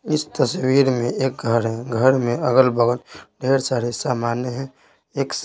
इस तस्वीर में एक घर है घर में अगल बगल ढेर सारे सामान्य हैं एक--